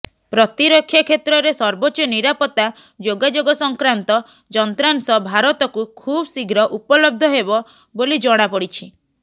ପ୍ରତିରକ୍ଷା କ୍ଷେତ୍ରରେ ସର୍ବୋଚ୍ଚ ନିରାପତ୍ତା ଯୋଗାଯୋଗ ସଂକ୍ରାନ୍ତ ଯନ୍ତ୍ରାଂଶ ଭାରତକୁ ଖୁବ୍୍ଶୀଘ୍ର ଉପଲବ୍ଧ ହେବ ବୋଲି ଜଣାପଡ଼ିଛି